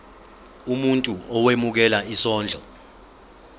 umuntu owemukela isondlo